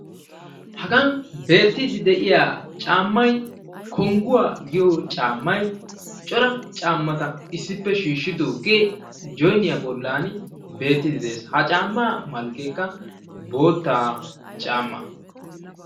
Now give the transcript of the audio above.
Haga beettidi de'iya caamay kongguwa giyo caamay cora caamata issippe shiishidooge joynniyaa bollan beettide de'ees. Ha caama malkkekka bootta caama.